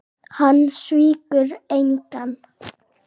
Hann svíkur engan.